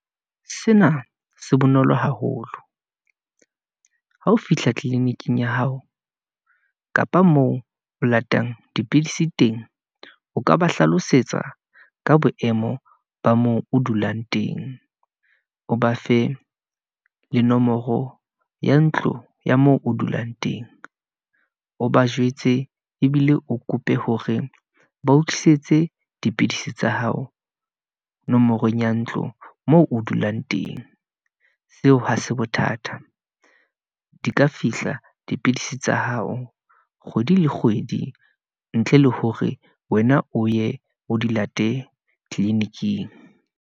Sena se bonolo haholo ha o fihla tliliniking ya hao, kapa moo o latang dipidisi teng, o ka ba hlalosetsa ka boemo ba moo o dulang teng, o ba fe le nomoro ya ntlo ya moo o dulang teng. O ba jwetse ebile o kope hore ba tlisetse dipidisi tsa hao nomorong ya ntlo moo o dulang teng. Seo ha se bothata, di ka fihla dipidisi tsa hao kgwedi le kgwedi, ntle le hore wena o ye o di late tliliniking.